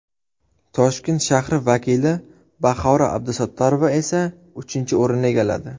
Toshkent shahri vakili Bahora Abdusattorova esa uchinchi o‘rinni egalladi.